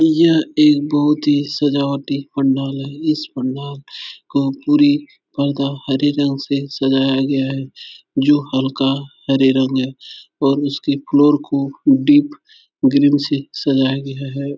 यह एक बहुत ही सजावटी पंडाल है। इस पंडाल का पूरी पर्दा हरे रंग से सजाया गया है। जो हल्का हरे रंग है और उसके फ्लोर को डीप ग्रीन से सजाया गया है।